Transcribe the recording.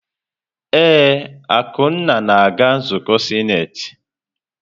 Ee, Akunna na-aga nzukọ sinetị.